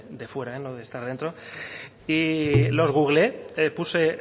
de fuera no de estar dentro y los googleé puse